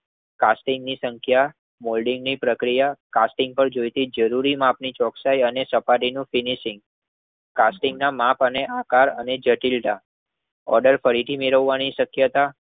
casting ની સંખ્યા moulding ની પ્રક્રિયા કાસ્ટિંગ જરૂરી માપની ચોકાય અને સપાટી નું ફીનીસીંગ કાસ્ટિંગના મેપ અને અકરવ અને જટિલતા ઓડૅર પડીકી મેળવાની શક્યતા